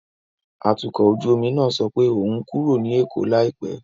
Atukọ̀ ojú omi náà sọ pé òun ń kúrò ní Èkó láìpẹ́.